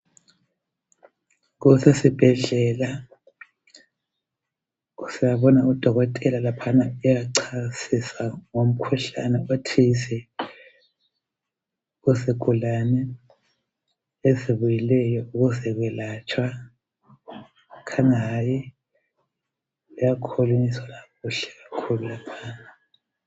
Kusesibhedlela siyabona udokotela laphana uyachasisa ngomkhuhlane othize kuzigulane ezibuyileyo ukuzelatshwa kukhanya kukhulunyiswana kuhle kakhulu laphana.